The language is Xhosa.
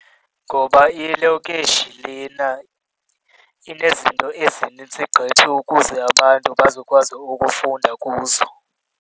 Ngoba ilokishi lena inezinto ezinintsi gqithi ukuze abantu bazokwazi ukufunda kuzo.